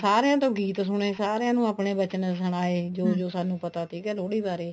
ਸਾਰਿਆਂ ਤੋਂ ਗੀਤ ਸੁਨੇ ਸਾਰਿਆਂ ਨੂੰ ਆਪਣੇ ਵਚਨ ਸੁਨਾਏ ਜੋ ਸਾਨੂੰ ਪਤਾ ਸੀਗਾ ਲੋਹੜੀ ਬਾਰੇ